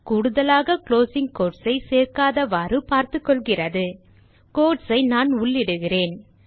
கூடுதலாக closing quotes ஐ சேர்க்காதவாறு பார்த்துக்கொள்கிறது quotes ஐ நான் உள்ளிடுகிறேன்